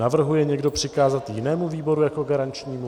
Navrhuje někdo přikázat jinému výboru jako garančnímu?